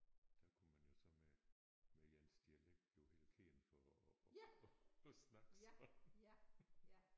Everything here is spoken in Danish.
Der kunne man jo så med med ens dialekt jo blive helt kendt for at at snakke sådan